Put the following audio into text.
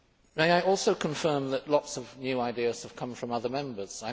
May I also confirm that lots of new ideas have come from other Members.